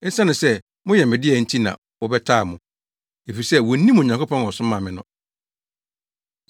Esiane sɛ moyɛ me dea nti na wɔbɛtaa mo, efisɛ wonnim Onyankopɔn a ɔsomaa me no.